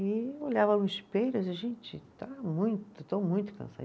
E eu olhava no espelho e gente, está muito, estou muito.